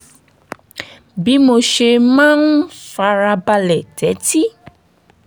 bí mo ṣe máa ń fara balẹ̀ tẹ́tí